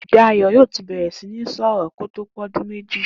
Dayò̩ yóò ti bè̩rè̩ sí ní sò̩rò̩ kí ó tó pé o̩dún méjì